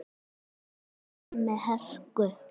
Það gerði hann með hörku.